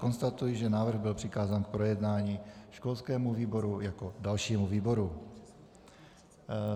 Konstatuji, že návrh byl přikázán k projednání školskému výboru jako dalšímu výboru.